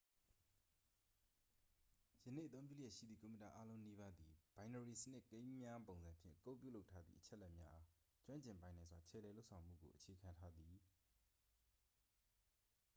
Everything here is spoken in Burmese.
ယနေ့အသုံးပြုလျက်ရှိသည့် ကွန်ပျူတာအားလုံးနီးပါးသည် ဘိုင်နရီစနစ်ကိန်းများပုံစံဖြင့် ကုဒ်ပြုလုပ်ထားသည့် အချက်အလက်များအား ကျွမ်းကျင်ပိုင်နိုင်စွာ ခြယ်လှယ်လုပ်ဆောင်မှုကို အခြေခံထားသည်